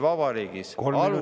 Kolm minutit lisaks.